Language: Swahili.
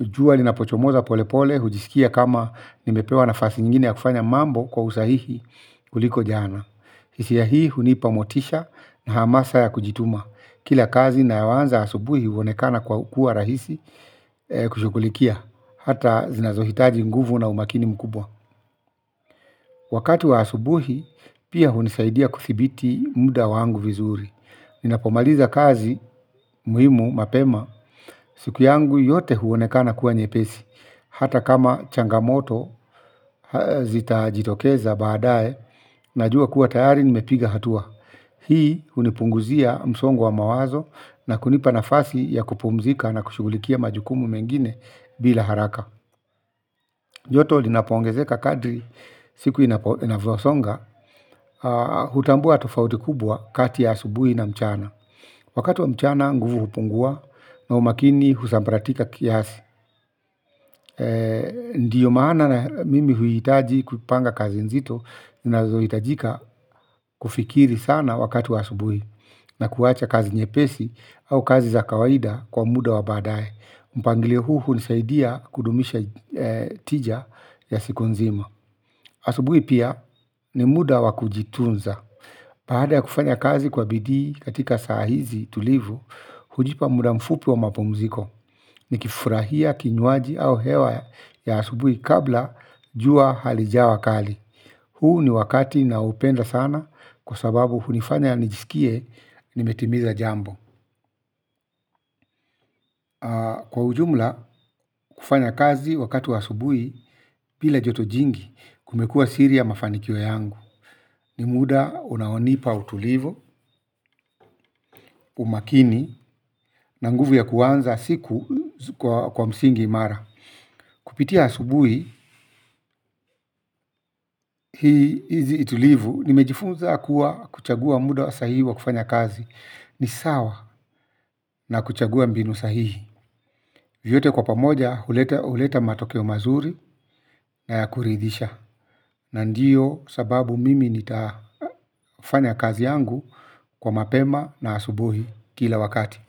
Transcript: jua linapochomoza polepole hujisikia kama nimepewa na fasi nyngine ya kufanya mambo kwa usahihi kuliko jana hisia hii hunipa motisha na hamasa ya kujituma. Kila kazi na yoanza asubui uonekana kwa kuwa rahisi kushughulikia hata zinazohitaji nguvu na umakini mkubwa. Wakati wa asubuhi pia hunisaidia kuthibiti muda wangu vizuri. Ninapomaliza kazi muhimu mapema siku yangu yote huonekana kuwa nyepesi. Hata kama changamoto zita jitokeza baadaye. Najua kuwa tayari nimepiga hatua. Hii hunipunguzia msongo wa mawazo na kunipa nafasi ya kupumzika na kushugulikia majukumu mengine bila haraka. Joto lina poongezeka kadri siku inapo inavosonga. Hutambua tofauti kubwa kati ya asubuhi na mchana. Wakati wa mchana nguvu hupungua na umakini husambaratika kiasi. Ndiyo maana na mimi huhitaji kupanga kazi nzito. Ninazo hitajika kufikiri sana wakatu wa asubui. Na kuwacha kazi nyepesi au kazi za kawaida kwa muda wa badaye mpangilio huu hunisaidia kudumisha tija ya siku nzima. Asubuhi pia ni muda wakujitunza. Baada ya kufanya kazi kwa bidii katika saa hizi tulivu, hujipa muda mfupi wa mapumziko. Ni kifurahia kinywaji au hewa ya asubuhi kabla jua halijawa kali. Huu ni wakati na upenda sana kwa sababu hunifanya nijisikie nimetimiza jambo. Kwa ujumla kufanya kazi wakati wa asubuhi bila joto jingi kumekuwa siri ya mafanikio yangu. Ni muda unaonipa utulivu, umakini na nguvu ya kuanza siku kwa msingi imara kupitia asubuhi hizi itulivu nimejifunza kuwa kuchagua muda sahihi wa kufanya kazi. Ni sawa na kuchagua mbinu sahihi. Vyote kwa pamoja huleta huleta matokeo mazuri na ya kuridhisha. Na ndiyo sababu mimi nitafanya kazi yangu kwa mapema na asubuhi kila wakati.